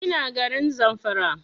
Ina garin Zamfara